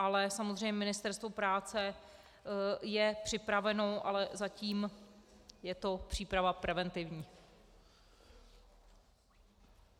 Ale samozřejmě Ministerstvo práce je připraveno, ale zatím je to příprava preventivní.